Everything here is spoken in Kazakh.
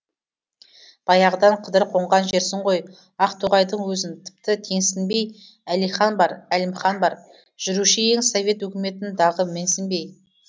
баяғыдан қыдыр қонған жерсің ғой ақтоғайдың өзін тіпті теңсінбей әлихан бар әлімхан бар жүруші ең совет өкіметін дағы менсінбей